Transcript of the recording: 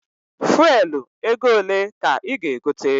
Fuelu ego ole ka ị ga- egote?